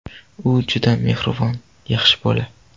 U juda mehribon, yaxshi bola.